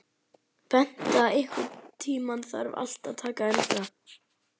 Bengta, einhvern tímann þarf allt að taka enda.